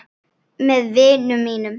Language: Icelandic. Með vinum mínum.